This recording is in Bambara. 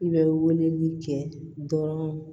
I bɛ weleli kɛ dɔrɔn